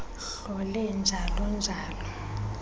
hlole njalo njalo